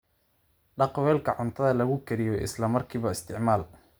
Dhaq weelka cuntada lagu kariyo isla markaaba isticmaal.